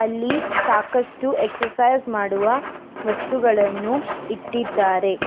ಅಲ್ಲಿ ಸಾಕಷ್ಟು ಎಕ್ಸರ್ಸೈಜ್ ಮಾಡುವ ವಸ್ತುಗಳನ್ನು ಇಟ್ಟಿದ್ದಾರೆ.